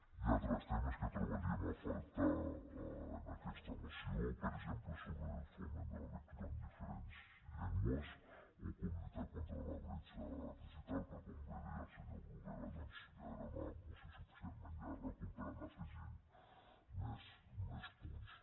hi ha altres temes que trobaríem a faltar en aquesta moció per exemple sobre el foment de la lectura en diferents llengües o com lluitar contra la bretxa digital però com bé deia el senyor bruguera doncs ja era una moció suficientment llarga com per anarhi afegint més punts